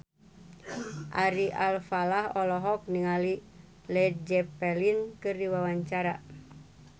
Ari Alfalah olohok ningali Led Zeppelin keur diwawancara